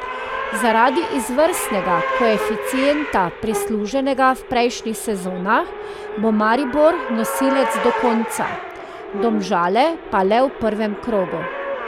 Zaradi izvrstnega koeficienta prisluženega v prejšnjih sezonah bo Maribor nosilec do konca, Domžale pa le v prvem krogu.